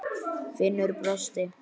Finnur brosti.